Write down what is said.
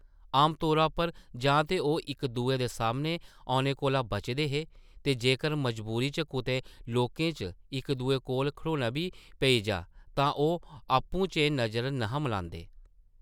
आम तौरा पर जां ते ओह् इक-दुए दे सामनै होने कोला बचदे हे ते जेकर मजबूरी च कुतै लोकें च इक-दुए कोल खड़ोना बी पेई जाऽ तां ओह् आपूं-चें नज़र न’हे मलांदे ।